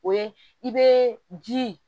O ye i bɛ ji